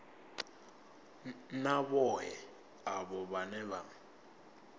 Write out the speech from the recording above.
na vhohe avho vhane vha